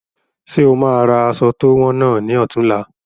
Ṣe o máa ra aṣọ to wọn náà ni ọ̀tunla?